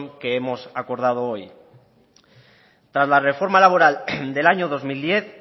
que hemos acordado hoy tras la reforma laboral del año dos mil diez